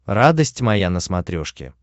радость моя на смотрешке